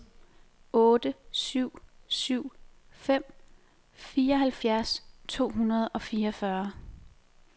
otte syv syv fem fireoghalvfjerds to hundrede og fireogfyrre